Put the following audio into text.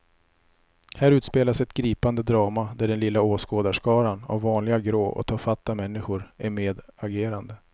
Här utspelas ett gripande drama där den lilla åskådarskaran av vanliga grå och tafatta människor är medagerande.